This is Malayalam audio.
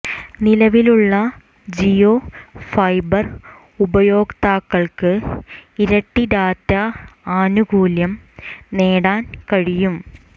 നിലവിലുള്ള ജിയോ ഫൈബർ ഉപയോക്താക്കൾക്ക് ഇരട്ടി ഡാറ്റ ആനുകൂല്യം നേടാൻ കഴിയും